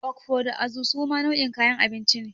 Okfo da Azu suma nau'in kayan abinci ne.